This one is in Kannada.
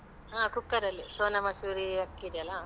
ಹಾ cooker ಅಲ್ಲಿ sona masoori ಅಕ್ಕಿ ಇದೆಯಲ್ಲ.